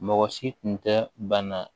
Mɔgɔ si tun tɛ bana